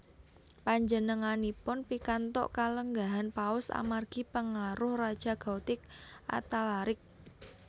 Panjenenganipun pikantuk kalenggahan Paus amargi pangaruh Raja Gotik Athalaric